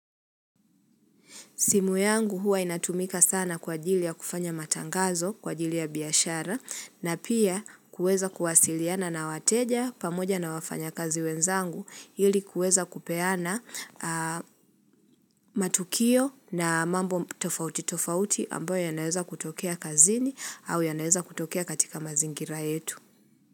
Simu yangu huwa inatumika sana kwa ajili ya kufanya matangazo kwa ajili ya biashara na pia kuweza kuwasiliana na wateja pamoja na wafanyakazi wenzangu ili kuweza kupeana matukio na mambo tofauti tofauti ambayo yanaeza kutokea kazini au yanaeza kutokea katika mazingira yetu.